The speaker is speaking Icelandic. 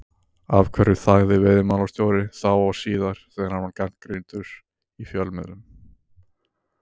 Af hverju þagði veiðimálastjóri, þá og síðar, þegar hann var gagnrýndur í fjölmiðlum?